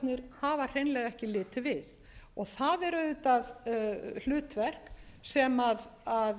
hafa hreinlega ekki látið við það er hlutverk sem verður að